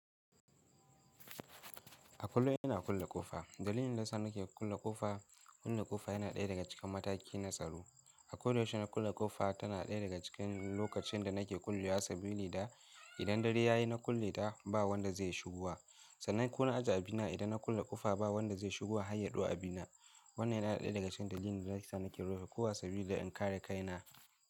A kullum ina kulle ƙofa. Dalilin da sa nake kulle ƙofa, kulle ƙofa yana ɗaya daga cikin mataki na tsaro. A koyaushe na kulle ƙofa tana ɗaya daga cikin lokacin da nake kullewa sabili da idan dare ya yi na kulle ta ba wanda zai shigo. Sannan ko na ajiye abina idan na kulle ƙofa ba wanda zai shigo har ya ɗau abina. Wannan yana ɗaya daga cikin dalilin da yasa nake rufe ƙoha sabili da in kare kaina.